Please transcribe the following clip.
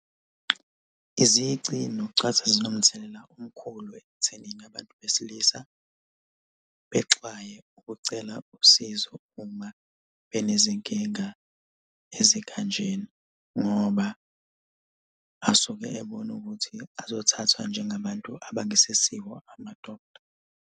Izici nokucwasa zinomthelela omkhulu ekuthenini abantu besilisa bexwaye ukucela usizo uma benezinkinga ezikhanjena ngoba asuke ebona ukuthi azothathwa njengabantu abangesesibo amadoda.